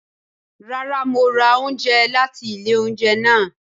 Rara, Mo ra oúnjẹ láti ilé oúnjẹ náà